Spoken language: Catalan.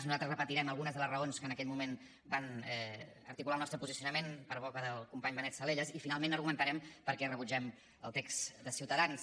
nosaltres repetirem algunes de les raons que en aquell moment van articular el nostre posicionament per boca del company benet salellas i finalment argumentarem per què rebutgem el text de ciutadans